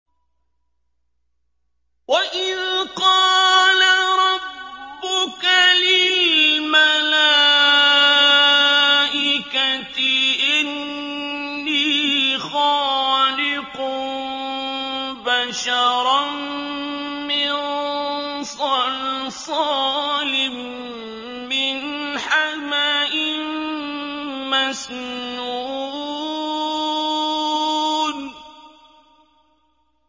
وَإِذْ قَالَ رَبُّكَ لِلْمَلَائِكَةِ إِنِّي خَالِقٌ بَشَرًا مِّن صَلْصَالٍ مِّنْ حَمَإٍ مَّسْنُونٍ